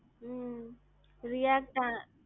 um react a,